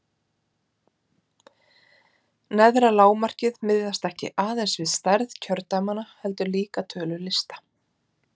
Neðra lágmarkið miðast ekki aðeins við stærð kjördæmanna heldur líka tölu lista.